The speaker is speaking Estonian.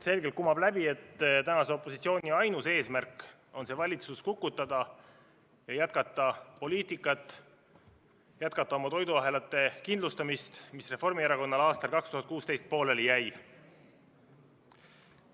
Selgelt kumab läbi, et tänase opositsiooni ainus eesmärk on see valitsus kukutada ja jätkata oma poliitikat, jätkata oma toiduahelate kindlustamist, mis Reformierakonnal aastal 2016 pooleli jäi.